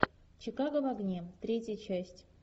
чикаго в огне третья часть